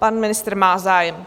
Pan ministr má zájem.